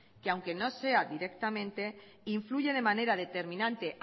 que aunque no sea directamente influye de manera determinante